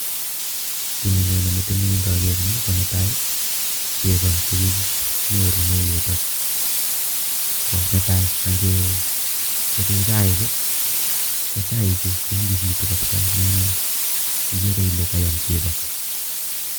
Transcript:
Kiiy nenyone metinyun ngageer ni, ko netai, chego chekinyorune yutok ko netai angechope chaik, ko chaichu konyigisitu kapsa ne igeere ile kayam chego.